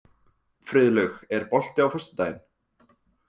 Friðlaug, er bolti á föstudaginn?